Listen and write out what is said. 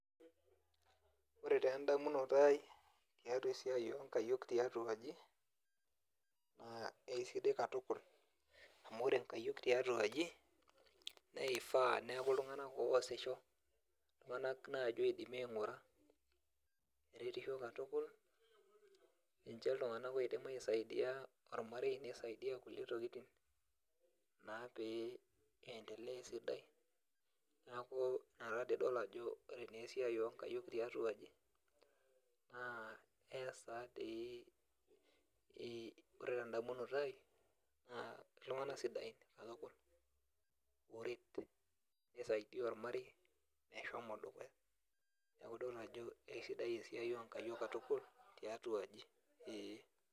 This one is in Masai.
Ore taa endamunoto aai tiatua esiai oonkayiok tiatu aji naa kesidai katukul amu ore nkayiok tiatu aji naa ifaa neeku iltung'anak oosisho, iltung'anak naaji oidimi aing'ura eretisho katukul ninche iltung'anak oidim aisaidia ormarei nisaidia kulie tokitin naa pee iendelea esidai, neeku ina taadoi idol ajo ore naa esiai oonkayiok tiatua aji naa ees taadoi ee ore tendamunoto aai naa iltung'anak sidain katukul ooret nisaidia ormarei meshomo dukuya neeku idol ajo kesidai esiai oonkayiok katukul tiatua aji ee.